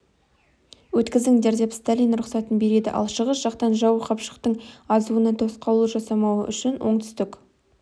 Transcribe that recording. өткізіңдер деп сталин рұқсатын береді ал шығыс жақтан жау қапшықтың азуына тосқауыл жасамауы үшін оңтүстік